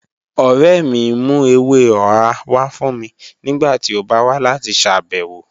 Ọ̀rẹ́ mì n mú èwè ọ̀hà wà fún mì nígbàtí ó bá wà láti ṣábẹ̀wọ̀